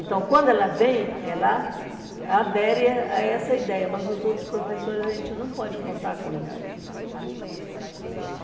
Então, quando ela vem, ela adere a eh a essa ideia, mas os outros professores, a gente não pode contar com isso.